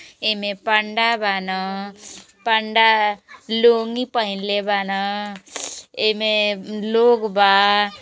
एमें पंडा बान। पंडा लूँगी पहिनले बान। एमे लोग बा।